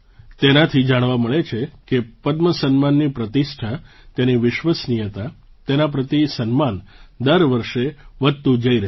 તેનાથી જાણવા મળે છે કે પદ્મ સન્માનની પ્રતિષ્ઠા તેની વિશ્વસનીયતા તેના પ્રતિ સન્માન દર વર્ષે વધતું જઈ રહ્યું છે